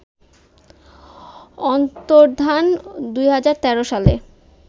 অন্তর্ধান ২০১৩ সালে